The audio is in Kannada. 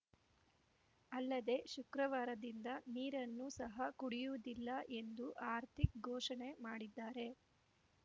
ಅಲ್ಲದೆ ಶುಕ್ರವಾರದಿಂದ ನೀರನ್ನು ಸಹ ಕುಡಿಯುವುದಿಲ್ಲ ಎಂದು ಹಾರ್ದಿಕ್‌ ಘೋಷಣೆ ಮಾಡಿದ್ದಾರೆ